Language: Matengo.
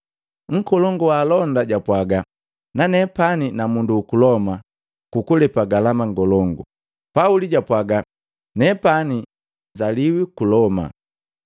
Nkolongu wa alonda japwaaga, “Nanepani na mundu uku Loma jukulepe galama ngolongu.” Pauli japwaaga, “Nepani nsaliwi ku Loma.”